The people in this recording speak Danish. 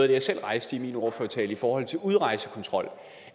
det jeg selv rejste i min ordførertale i forhold til udrejsekontrol